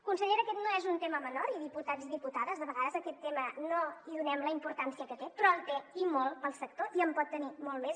consellera aquest no és un tema menor i diputats diputades de vegades a aquest tema no hi donem la importància que té però en té i molta per al sector i en pot tenir molta més